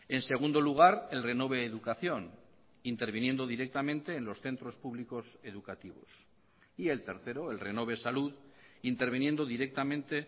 en segundo lugar el renove educación interviniendo directamente en los centros públicos educativos y el tercero el renove salud interviniendo directamente